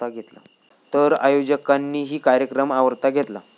तर आयोजकांनीही कार्यक्रम आवरता घेतला.